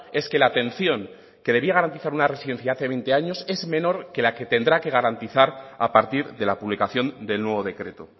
es que la atención que debía garantizar una residencia hace veinte años es menor que la que tendrá que garantizar a partir de la publicación del nuevo decreto